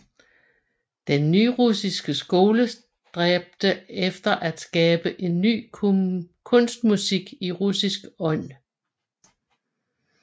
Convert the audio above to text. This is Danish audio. Den nyrussiske skole stræbte efter at skabe en ny kunstmusik i russisk ånd